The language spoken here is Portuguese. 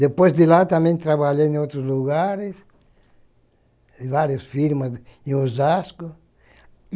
Depois de lá também trabalhei em outros lugares, em várias firmas, em Osasco.